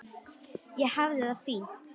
Ég hafði það fínt.